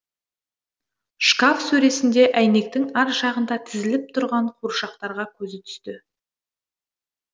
шкаф сөресінде әйнектің ар жағында тізіліп тұрған қуыршақтарға көзі түсті